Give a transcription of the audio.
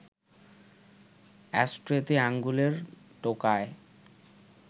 অ্যাশট্রেতে আঙুলের টোকায়